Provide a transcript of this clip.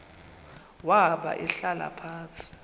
wahamba ehlala phantsi